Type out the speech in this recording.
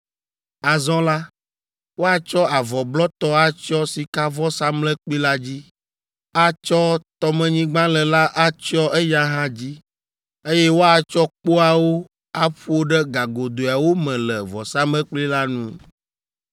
“Azɔ la, woatsɔ avɔ blɔtɔ atsyɔ sikavɔsamlekpui la dzi, atsɔ tɔmenyigbalẽ la atsyɔ eya hã dzi, eye woatsɔ kpoawo aƒo ɖe gagodoeawo me le vɔsamlekpui la ŋu.